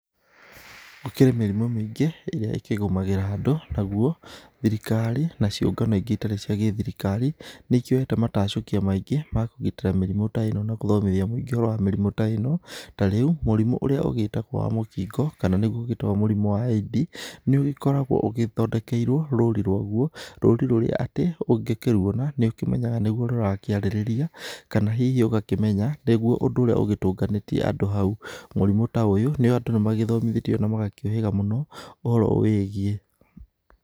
Gũkĩrĩ mĩrimũ mĩingĩ ĩrĩa ĩkĩgũmagĩra andũ nagũo thirikari na ciũngano ingĩ itari cia gĩthirikari nĩ ikĩoyete matacukia maingĩ makũgĩtĩra mĩrimũ ta ĩno tarĩu mũrimũ ũria ũgĩtagwo wa mũkingo kana nĩ gũo ũgĩtagwo mũrimũ wa AID nĩ ũkoragwo ũthondekeirwo rũri rũagwo rũri rũrĩa atĩ ungĩkĩruona nĩ ũkĩmenyaga nĩgũo rũrakĩarĩrĩria kana hihi ũgakĩmenya nĩgũo ũndũ ũrĩa ũgĩtũnganĩtie andũ hau, mũrimũ ta ũyũ andũ nĩmagĩthomithĩtio na magakĩuhĩga mũno ũhoro ũwĩgiĩ.